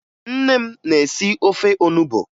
Nne m na-esi ofe onubo